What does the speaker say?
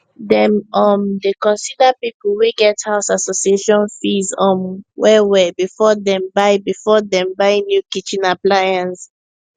dem um dey consider people wey get house association fees um well well before dem buy before dem buy new kitchen appliance